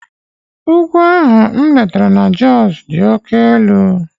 Ugwu ahụ m letara na Josụ dị oke elu.